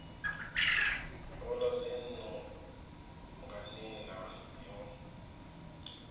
ola dzinnu nga nila yo